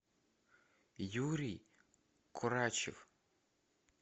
юрий курачев